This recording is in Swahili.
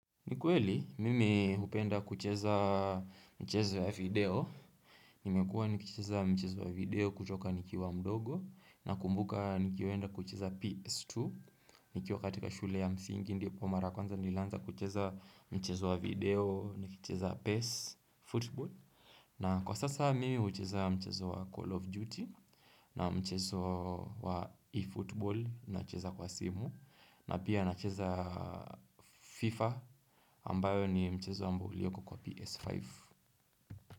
Ni kweli, mimi hupenda kucheza mchezo ya video. Nimekuwa nikucheza mchezo ya video kutoka nikiwa mdogo. Nakumbuka nikienda kucheza PS2. Nikiwa katika shule ya msingi ndipo mara kwanza nilianza kucheza mchezo wa video nikicheza PES, efootball. Na kwa sasa mimi hucheza mchezo wa Call of Duty na mchezo wa e-football nacheza kwa simu. Na pia nacheza FIFA ambayo ni mchezo ambao ulioko kwa PS5.